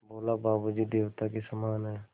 बोला बाबू जी देवता के समान हैं